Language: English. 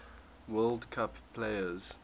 world cup players